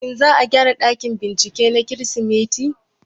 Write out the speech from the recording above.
Shin za a gyara ɗakin bincike na kemistri?